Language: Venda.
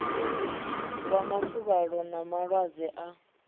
wa mafuvhalo na malwadze a